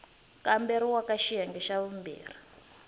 kamberiwa ka xiyenge xa vumbirhi